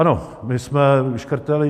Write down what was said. Ano, my jsme škrtali.